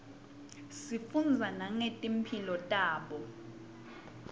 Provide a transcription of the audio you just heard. sifundza nangeti mphilo tabo